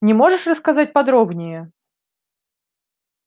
не можешь рассказать подробнее